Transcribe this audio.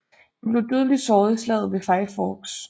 Han blev dødeligt såret i slaget ved Five Forks